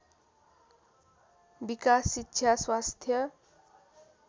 विकास शिक्षा स्वास्थ्य